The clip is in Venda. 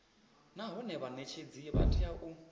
nahone vhanetshedzi vha tea u